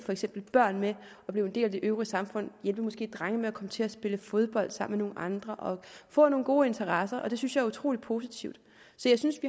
børn med at blive en del af det øvrige samfund måske hjælpe drenge med at komme til at spille fodbold sammen med nogle andre og få nogle gode interesser og det synes jeg er utrolig positivt så jeg synes